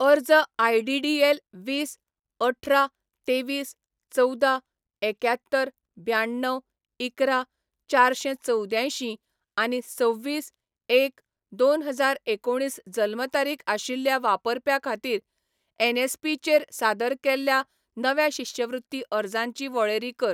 अर्ज I D D L वीस अठरा तेवीस चवदा एक्यात्तर ब्याण्णव इकरा चारशें चवद्यांयशीं आनी सव्वीस, एक, दोन हजार एकुणीस जल्म तारीख आशिल्ल्या वापरप्या खातीर एनएसपी चेर सादर केल्ल्या नव्या शिश्यवृत्ती अर्जांची वळेरी कर